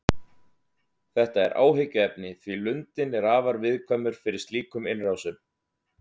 Þetta er áhyggjuefni því lundinn er afar viðkvæmur fyrir slíkum innrásum.